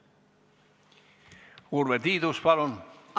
Urve Tiidus, palun!